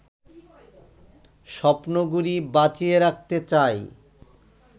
স্বপ্নগুলি বাঁচিয়ে রাখতে চাই